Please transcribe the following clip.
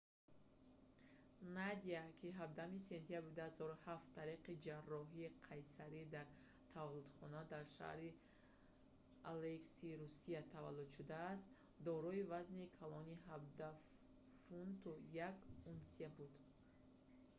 надя ки 17 сентябри 2007 тариқи ҷарроҳии қайсарӣ дар таваллудхона дар шаҳри алейск русия таваллуд шудааст дорои вазни калони 17 фунту 1 унсия буд